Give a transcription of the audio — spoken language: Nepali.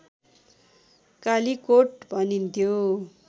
कालीकोट भनिन्थ्यो